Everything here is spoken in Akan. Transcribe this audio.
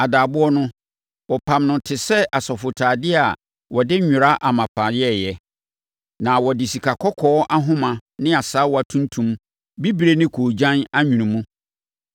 Adaaboɔ no, wɔpamm no te sɛ asɔfotadeɛ a wɔde nwera amapa yɛeɛ, na wɔde sikakɔkɔɔ ahoma ne asaawa tuntum, bibire ne koogyan anwene mu.